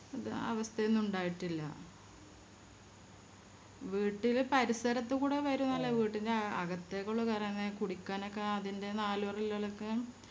ആ അവസ്ഥയൊന്നും ഉണ്ടായിട്ടില്ല വീട്ടില് പരിസരത്തുക്കൂടെ വരുന്നല്ലാതെ വീട്ടിൻറെ അകത്തേക്കുള്ളെ കേറാതെ അതിൻറെ നാല് പറെ ഉള്ളോളൊക്കെ